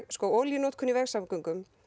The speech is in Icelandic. olíunotkun í vegsamgöngum